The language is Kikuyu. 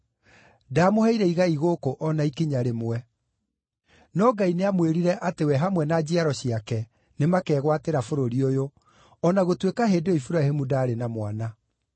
Ndaamũheire igai gũkũ, o na ikinya rĩmwe. No Ngai nĩamwĩrire atĩ we hamwe na njiaro ciake nĩmakegwatĩra bũrũri ũyũ, o na gũtuĩka hĩndĩ ĩyo Iburahĩmu ndaarĩ na mwana.